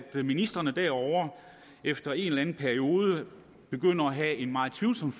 at ministrene derovre efter en eller anden periode begynder at have et meget tvivlsomt